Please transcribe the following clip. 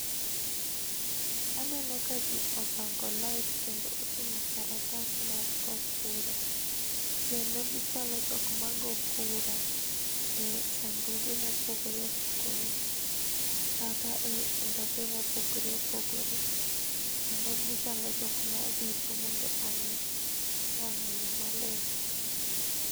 Aneno ka jii opango lain kendo oting'o karatas mag go kura. Kendo gichalo jok ma go kura e sanduge mopogore opogore, kata e ndope mopogore opogore, kendo gichalo jok marito mondo omii wang'ayoo maluwo.